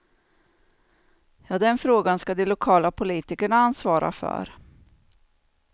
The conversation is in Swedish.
Ja, den frågan ska de lokala politikerna ansvara för.